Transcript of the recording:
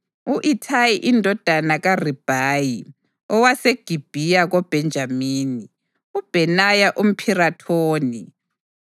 u-Ithayi indodana kaRibhayi owaseGibhiya koBhenjamini, uBhenaya umPhirathoni,